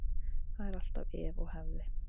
Það er alltaf ef og hefði.